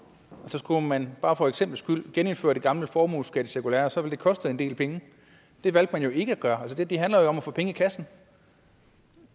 og så skulle man bare for eksemplets skyld genindføre det gamle formueskattecirkulære så ville det koste en del penge det valgte man jo ikke at gøre altså det handler jo om at få penge i kassen